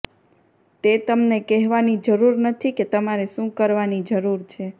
તે તમને કહેવાની જરૂર નથી કે તમારે શું કરવાની જરૂર છે